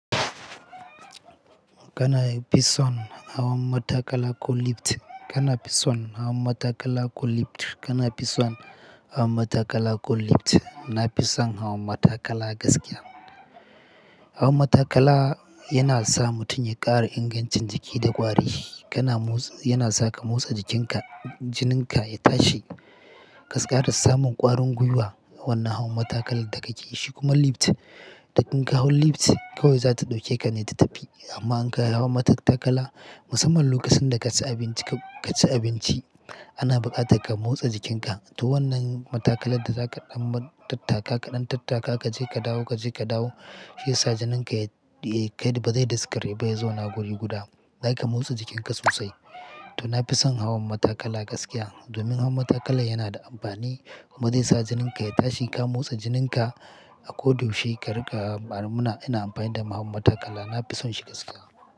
Kana fison hawa matakala ko lift, kana fison hawa matakala ko lift, kana fison hawa matakala ko lift. Na fi son hawa matakala gaskiya. Hawan matakala yana sa mutum ya ƙara ingancin jiki da ƙwari. Kana motsi, yana sa ka motsa jikinka, jinin ka ya tashi. Gaskiya da samun ƙwarin gwiwa wannan hawan matakala da kake yi shi kuma lift, idan kin kawo lift kawai za ta ɗauke ka ne ta tafi. Amma in ka yi hawan matakala musamman lokacin da ka ci abinci, ka ci abinci ana buƙatar ka motsa jikinka. To wannan matakala da za ka ɗan tattaka kaɗan tattaka kaje ka dawo, kaje ka dawo shi ya sa jinin ka ya, ya ba zai daskare ba, ya zo na guri guda. Za ka motsa jikin ka sosai. To na fi son hawan matakala gaskiya domin hawan matakala yana da amfani kuma zai sa jinin ka ya tashi ka motsa jinin ka a ko da yaushe kari ka. Ba'a muna ina amfani da hawan matakala na fi son shi gaskiya.